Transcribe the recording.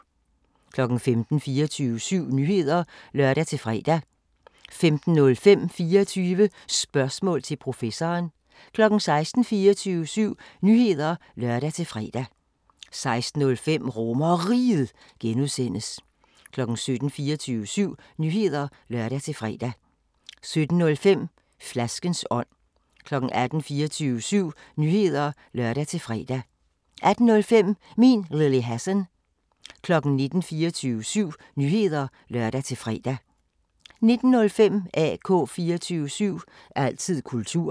15:00: 24syv Nyheder (lør-fre) 15:05: 24 Spørgsmål til Professoren 16:00: 24syv Nyheder (lør-fre) 16:05: RomerRiget (G) 17:00: 24syv Nyheder (lør-fre) 17:05: Flaskens ånd 18:00: 24syv Nyheder (lør-fre) 18:05: Min Lille Hassan 19:00: 24syv Nyheder (lør-fre) 19:05: AK 24syv – altid kultur